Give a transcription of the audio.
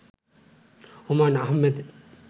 Humayun Ahmed